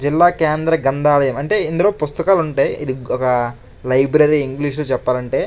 జిల్లా కేంద్ర గ్రంథాలయం అంటే ఇందులో పుస్తకాలు ఉంటాయి. ఇది ఒక లైబ్రరీ ఇంగ్లీషు లో చెప్పాలంటే.